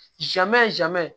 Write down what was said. Jamɛ